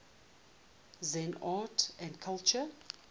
zen art and culture